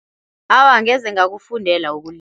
Awa, angeze ngakufundela ukulima.